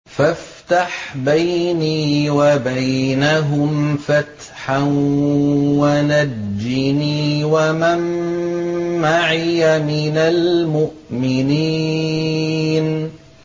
فَافْتَحْ بَيْنِي وَبَيْنَهُمْ فَتْحًا وَنَجِّنِي وَمَن مَّعِيَ مِنَ الْمُؤْمِنِينَ